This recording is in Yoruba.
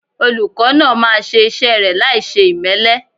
Olùkọ́ náà máa ṣe iṣẹ́ rẹ̀ láìṣe ìmẹ́lẹ́.